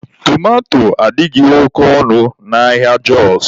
Tomato adịghị oke ọnụ n'ahịa Jọs